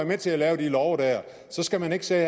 med til at lave de love og så skal man ikke sidde